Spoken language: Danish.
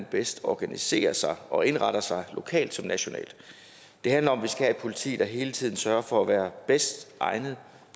bedst organiserer sig og indretter sig lokalt som nationalt det handler om at vi skal have et politi der hele tiden sørger for at være bedst egnet